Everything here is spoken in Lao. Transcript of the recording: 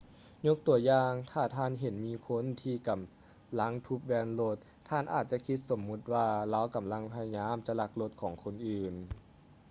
ຍົກຕົວຢ່າງ ຖ້າທ່ານເຫັນມີຄົນທີ່ກຳລັງທຸບແວ່ນລົດ ທ່ານອາດຈະຄິດສົມມຸດວ່າ ລາວກຳລັງພະຍາຍາມຈະລັກລົດຂອງຄົນອື່ນ